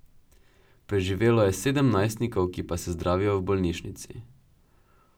Preživelo je sedem najstnikov, ki pa se zdravijo v bolnišnici.